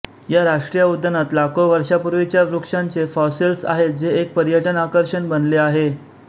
या राष्ट्रीय उद्यानात लाखो वर्षांपूर्वीच्या वृक्षांचे फॉसिल्स आहेत जे एक पर्यटन आकर्षण बनले आहे